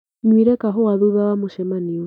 Nywire kahũa thutha wa mũcemanio.